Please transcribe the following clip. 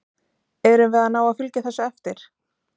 Erum við að ná að fylgja eftir þessu?